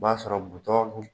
O b'a sɔrɔ butɔn